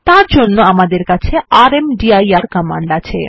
তার জন্য আমাদের কাছে রামদির কমান্ড আছে